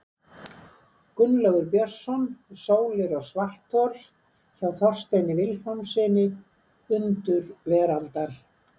Gunnlaugur Björnsson, Sólir og svarthol, hjá Þorsteini Vilhjálmssyni, Undur veraldar.